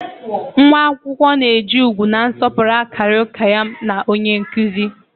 Nwa akwụkwọ na-eji ugwu na nsọpụrụ akarị ụka ya na onye nkụzi